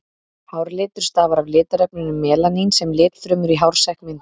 Hárlitur stafar af litarefninu melanín sem litfrumur í hársekk mynda.